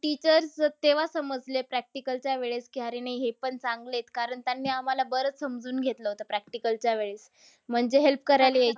Teachers तेव्हा समजले practicals च्या वेळेस की अरे नाही, हे पण चांगलेत. कारण त्यांनी आम्हाला बरंच समजून घेतलं होतं practicals च्या वेळेस. म्हणजे help करायला येयचे.